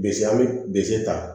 Bese an be bse ta